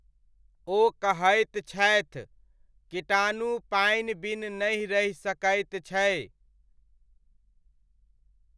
ओ कहैत छथि, कीटाणु पानि बिन नहि रहि सकैत छै।